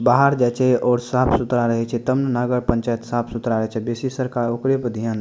बाहर जाए छे और साफ़ सुथरा रहे छे तब ना नगर पंचायत साफ़-सुथरा रहे छे बेसी सरकार ओकरे पे ध्यान --